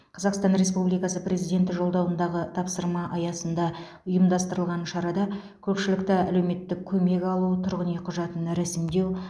қазақстан республикасы президенті жолдауындағы тапсырма аясында ұйымдастырылған шарада көпшілікті әлеуметтік көмек алу тұрғын үй құжатын рәсімдеу